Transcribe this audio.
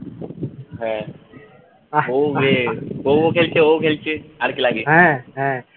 হ্যাঁ ও খেলছে ও খেলছে আর কী লাগে